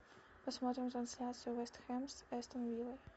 посмотрим трансляцию вест хэм с астон виллой